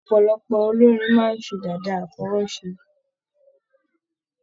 Ọpọlọpọ olórin máa n se dàda afọwọse.